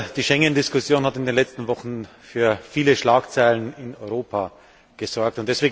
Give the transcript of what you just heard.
Die Schengendiskussion hat in den letzten Wochen für viele Schlagzeilen in Europa gesorgt.